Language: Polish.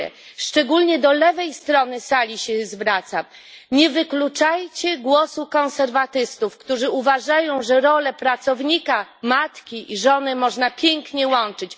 Słowa te kieruję szczególnie do lewej strony sali nie wykluczajcie głosu konserwatystów, którzy uważają, że role pracownika, matki i żony można pięknie łączyć.